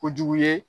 Kojugu ye